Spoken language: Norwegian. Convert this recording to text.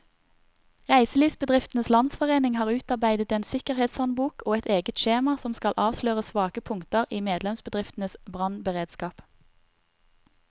Reiselivsbedriftenes landsforening har utarbeidet en sikkerhetshåndbok og et eget skjema som skal avsløre svake punkter i medlemsbedriftenes brannberedskap.